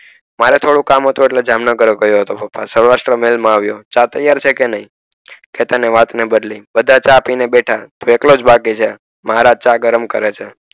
મારે થોડું કામ હતું એટલે જામનગર ગયો હતો સૌરાષ્ટ્ર મહેલ માં આવીયો ચા ત્યાર છે કે નઈ ચેતને વાત બદલી બધા ચા પીય ને બેઠા એટલો જ બાકી છે મહારાજ ચા ગરમ કરે છે.